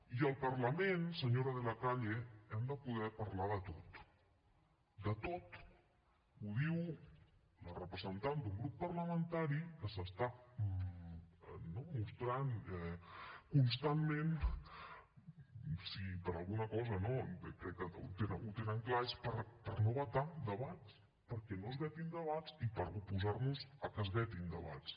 i al parlament senyora de la calle hem de poder parlar de tot de tot ho diu la representant d’un grup parlamentari que s’està mostrant constantment si per alguna cosa no crec que ho tenen clar és per no vetar debats perquè no es vetin debats i per oposar nos a que es vetin debats